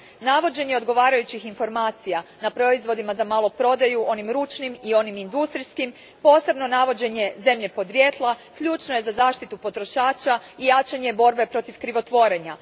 Navođenje odgovarajućih informacija na proizvodima za maloprodaju, onim ručnim i onim industrijskim, posebno navođenje zemlje podrijetla, ključno je za zaštitu potrošača i jačanje borbe protiv krivotvorenja.